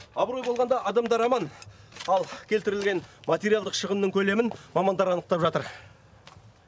абырой болғанда адамдар аман ал келтірілген материалдық шығын көлемін мамандар анықтап жатыр